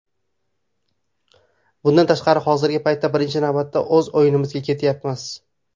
Bundan tashqari hozirgi paytda birinchi navbatda o‘z o‘yinimizga qaratyapmiz.